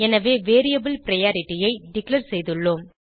எனவே variable priority ஐ declare செய்துள்ளோம்